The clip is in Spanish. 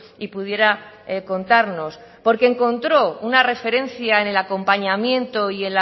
y pudiera contarnos porque encontró una referencia en el acompañamiento y